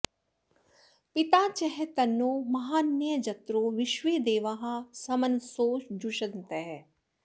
पि॒ता च॒ तन्नो॑ म॒हान्यज॑त्रो॒ विश्वे॑ दे॒वाः सम॑नसो जुषन्त